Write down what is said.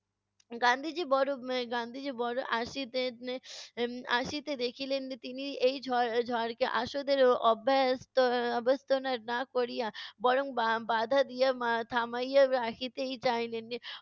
গান্ধিজি বড় আহ গান্ধীজী বড় আসিতে এর আসিতে দেখিলেন তিনি এই ঝড় ঝড়কে আসনের অব্যস্থ এর অব্যস্থনের না করিয়া বরং বা~ বাঁধা দিয়া মা~ থামাইয়া রাখিতেই চাইলেন।